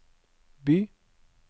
by